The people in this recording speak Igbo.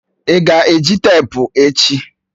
Ị ga-eji teepu echi?